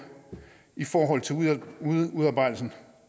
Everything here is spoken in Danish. i forhold til udarbejdelsen